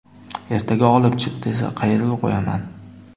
Ertaga olib chiq, desa qayerga qo‘yaman.